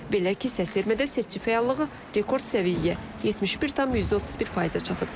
Belə ki, səsvermədə seçici fəallığı rekord səviyyəyə 71,31%-ə çatıb.